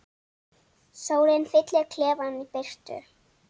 Sólin fyllir klefann birtu.